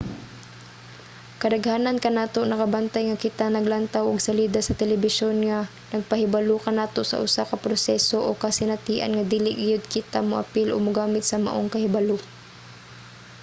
kadaghanan kanato nakabantay nga kita naglantaw og salida sa telebisyon nga nagpahibalo kanato sa usa ka proseso o kasinatian nga dili gayud kita moapil o mogamit sa maong kahibalo